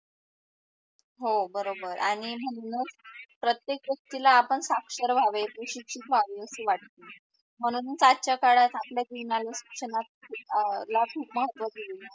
हो बरोबर, आणि म्हणूनच प्रतेक गोष्टीला आपण साक्षर व्हावे सुशिक्षिता व्हावे असे वाटते म्हणूनच आजच्या काळात आपल्या जीवनात शिक्षणात अह ला खूप महत्व दिले आहेत.